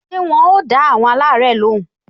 Ṣé wọn ò dá àwọn alare lóhùn?